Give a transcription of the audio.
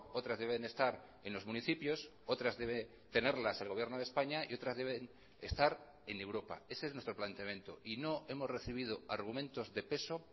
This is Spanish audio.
otras deben estar en los municipios otras debe tenerlas el gobierno de españa y otras deben estar en europa ese es nuestro planteamiento y no hemos recibido argumentos de peso